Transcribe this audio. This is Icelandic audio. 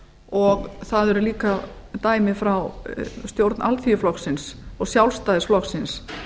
og það eru líka dæmi frá stjórn alþýðuflokksins og sjálfstæðisflokksins